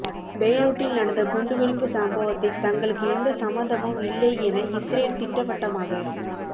பெய்ரூட்டில் நடந்த குண்டுவெடிப்பு சம்பவத்தில் தங்களுக்கு எந்த சம்பந்தமும் இல்லை என இஸ்ரேல் திட்டவட்டமாக